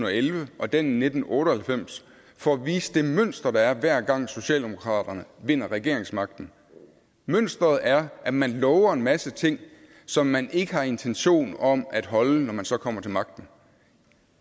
og elleve og den i nitten otte og halvfems for at vise det mønster der er hver gang socialdemokraterne vinder regeringsmagten mønsteret er at man lover en masse ting som man ikke har intention om at holde når man så kommer til magten